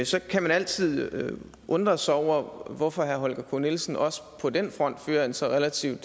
så kan man altid undre sig over hvorfor herre holger k nielsen også på den front fører en så relativt